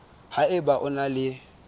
ha eba o na le